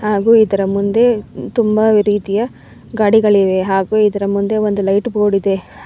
ಹಾಗು ಇದರ ಮುಂದೆ ತುಂಬಾ ವೆರೈಟಿಯ ಗಾಡಿಗಳಿವೆ ಹಾಗು ಇದರ ಮುಂದೆ ಒಂದು ಲೈಟ್ ಬೋರ್ಡ್ ಇದೆ.